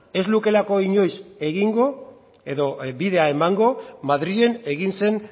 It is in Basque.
ez lukeelako inoiz egingo edo bidea emango madrilen egin zen